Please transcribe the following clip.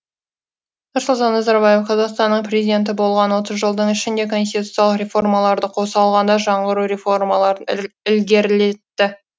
нұрсұлтан назарбаев қазақстанның президенті болған отыз жылдың ішінде конституциялық реформаларды қоса алғанда жаңғыру реформаларын ілгерілетті